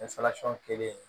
kelen